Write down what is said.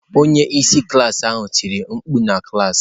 Onye isi klaasị ahụ tiri mkpu! Na klas.